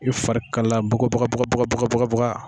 I fari kalayala bagabagabagabaga.